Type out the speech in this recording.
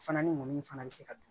Fana ni mɔni in fana bɛ se ka dun